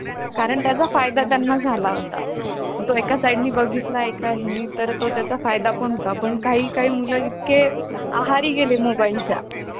अं एका एका घरात अं म्हणजे पाच-पाच, सहा-सहा, बहीण-भाऊ त्यांचे आई-वडील असतात ते अं म्हणजे आपण म्हणू शकतो कि आई वडिलांना असे वाटते की, जेवढी जास्त संख्या